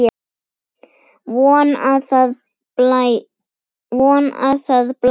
Von að það blæði!